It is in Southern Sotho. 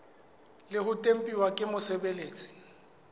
le ho tempuwa ke mosebeletsi